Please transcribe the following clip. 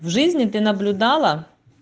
в жизни ты наблюдала